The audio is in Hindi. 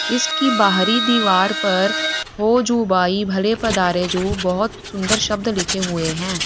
इसकी बाहरी दीवार पर हो जू बाई भले पधारे जू बहोत सुंदर शब्द लिखें हुए हैं।